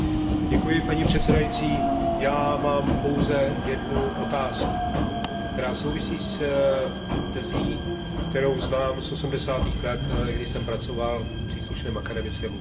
Paní předsedající, já mám pouze jednu otázku, která souvisí s tezí, kterou znám z osmdesátých let, kdy jsem pracoval v příslušném akademickém ústavu.